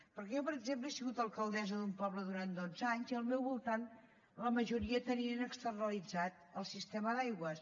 perquè jo per exemple he sigut alcaldessa d’un poble durant dotze anys i al meu voltant la majoria tenien externalitzat el sistema d’aigües